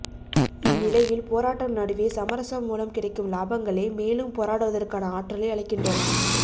இந்நிலையில் போராட்டம் நடுவே சமரசம் மூலம் கிடைக்கும் லாபங்களே மேலும் போராடுவதற்கான ஆற்றலை அளிக்கின்றன